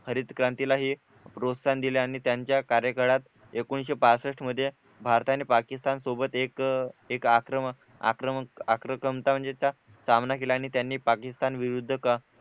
हरित क्रांतीला ही प्रोत्साहन दिले आणि त्यांच्या कार्यकाळात एकोणीशे बासष्ठ मध्ये भारत आणि पाकिस्तान सोबत एक एक आक्रमण आक्रमकता म्हणजे सामना केला आणि त्यांनी पाकिस्तान विरुद्ध